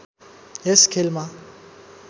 यस खेलमा